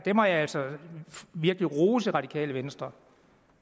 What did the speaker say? må jeg altså virkelig rose radikale venstre